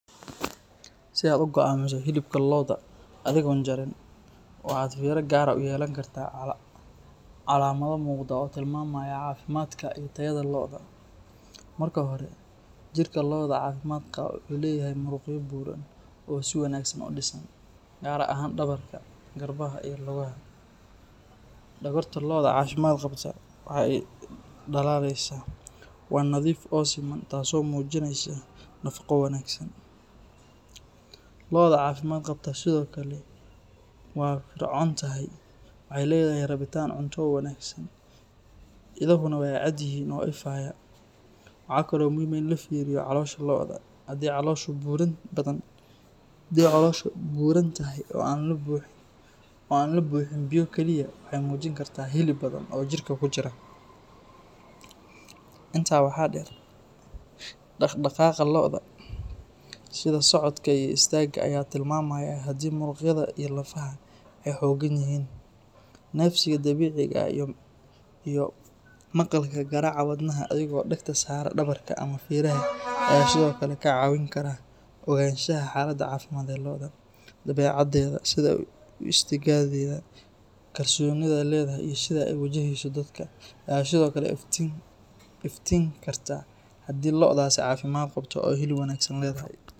Si aad u go’aamiso hilibka lo’da adigoon jarin, waxaad fiiro gaar ah u yeelan kartaa calaamado muuqda oo tilmaamaya caafimaadka iyo tayada lo’da. Marka hore, jirka lo’da caafimaad qaba wuxuu leeyahay muruqyo buuran oo si wanaagsan u dhisan, gaar ahaan dhabarka, garbaha iyo lugaha. Dhogorta lo’da caafimaad qabta waa ay dhalaalaysaa, waa nadiif oo siman, taasoo muujinaysa nafaqo wanaagsan. Lo’da caafimaad qabta sidoo kale waa firfircoon tahay, waxay leedahay rabitaan cunto oo wanaagsan, indhahuna waa cad yihiin oo ifaya. Waxa kale oo muhiim ah in la fiiriyo caloosha lo’da; haddii calooshu buuran tahay oo aan la buuxin biyo kaliya, waxay muujin kartaa hilib badan oo jirka ku jira. Intaa waxaa dheer, dhaqdhaqaaqa lo’da, sida socodka iyo istaagga, ayaa tilmaamaya haddii muruqyada iyo lafaha ay xoogan yihiin. Neefsiga dabiiciga ah iyo maqalka garaaca wadnaha adigoo dhagta saara dhabarka ama feeraha ayaa sidoo kale ka caawin kara ogaanshaha xaaladda caafimaad ee lo’da. Dabeecaddeeda, sida u istaagiddeeda kalsooni leh iyo sida ay u wajahayso dadka, ayaa sidoo kale ifin karta haddii lo’daasi caafimaad qabto oo hilib wanaagsan leedahay.